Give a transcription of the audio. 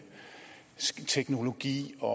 teknologi og